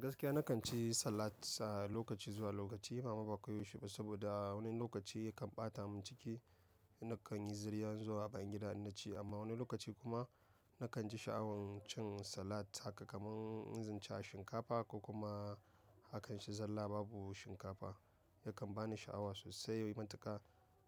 Gaskiya nakan ci salat lokaci zuwa lokaci, mama ba koyaushe ba saboda wani lokaci ya kan ɓata mun ciki, nakan yi zirya zuwa a bayangida innaci, amma wani lokaci kuma nakan ji sha'awan cin salat haka kamar in ci shinkafa ko kuma hakan ci zalla babu shinkafa, yakan bani sha'awa sosai. Yanzu matuka